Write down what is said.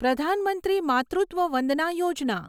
Pradhan Mantri Matritva Vandana Yojana